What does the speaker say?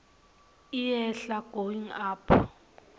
iyehla going up